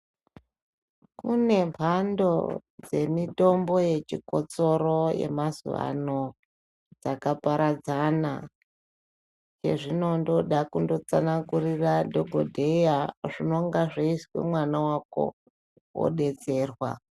Kune mhando dzemitombo yechikotsoro yemazuvano dzakaparadzana. Yezvino ndoda kundotsanangurira madhokodheya zvinonga zvese mwana wako wodetserwa.